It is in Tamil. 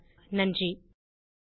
குரல் கொடுத்தது ஐட் பாம்பே லிருந்து பிரியா